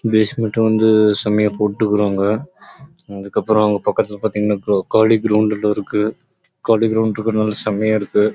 பைசெக்மென்ட் செமையா போட்ருக்காங்க பக்கத்துலே காலி கிரௌண்ட் இருக்கு